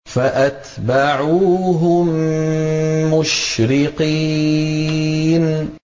فَأَتْبَعُوهُم مُّشْرِقِينَ